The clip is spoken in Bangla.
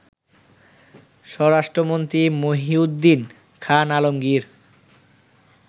স্বরাষ্ট্রমন্ত্রী মহীউদ্দীন খান আলমগীর